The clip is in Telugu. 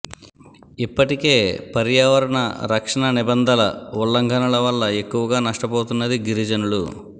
ఇప్పటికే పర్యావరణ రక్షణ నిబంధల ఉల్లంఘనల వల్ల ఎక్కువగా నష్టపోతున్నది గిరిజనులు